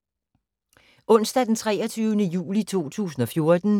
Onsdag d. 23. juli 2014